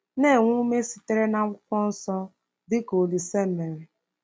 Na-enwe ume sitere na Akwụkwọ Nsọ, dị ka Olise mere